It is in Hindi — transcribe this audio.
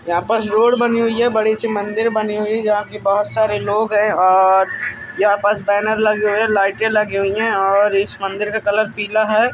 यहाँ पास रोड बनी हुई है। बड़ी सी मंदिर बनी हुई है। जहाँ की बहुत सारे लोग हैं और यहाँ पास बैनर लगे हुए हैं लाइट लगी हुई है और इस मंदिर का कलर पीला है।